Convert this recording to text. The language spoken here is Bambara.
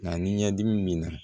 Nka ni ɲɛdimi b'i na